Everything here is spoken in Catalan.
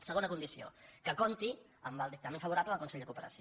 segona condició que compti amb el dictamen favorable del consell de cooperació